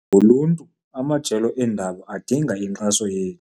ngoluntu amajelo eendaba adinga inkxaso yethu.